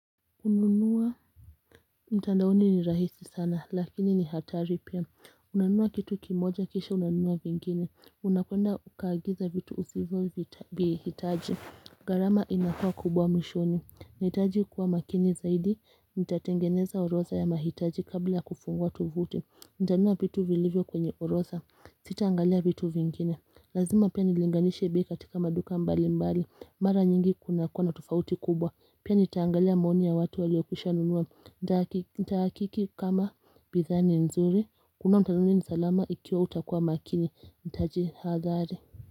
Hununua mtandaoni ni rahisi sana lakini ni hatari pia Unanunua kitu kimoja kisha unanunua vingine Unakwenda ukaagiza vitu usivyovihitaji gharama inakuwa kubwa mwishoni. Nahitaji kuwa makini zaidi Nitatengeneza orodha ya mahitaji kabla ya kufungua tuvuti. Nitanunua vitu vilivyo kwenye orodha Sitaangalia vitu vingine Lazima pia nilinganishe bei katika maduka mbali mbali Mara nyingi kunakuwa na tofauti kubwa Pia nitaangalia maoni ya watu waliokwisha nunua Nitahakiki kama bidhaa ni nzuri. Hakuna mtu atajua ni salama ikiwa hautakuwa makini. Nitajihadhari.